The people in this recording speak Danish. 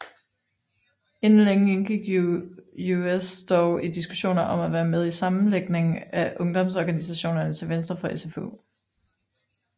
Inden længe indgik UUS dog i diskussioner om at være med i en sammenlægning af ungdomsorganisationerne til venstre for SFU